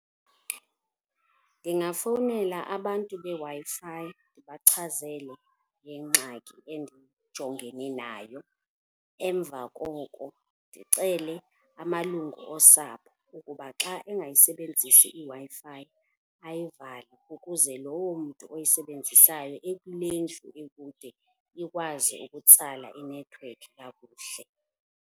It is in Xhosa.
Ndingafowunela abantu beWi-Fi ndibachazele ngengxaki endijongene nayo, emva koko ndicele amalungu osapho ukuba xa engayisebenzisi iWi-Fi ayivale ukuze lowo mntu oyisebenzisayo ekule ndlu ekude ikwazi ukutsala inethiwekhi kakuhle.